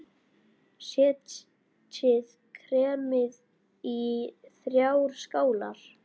Setjið kremið í þrjár skálar.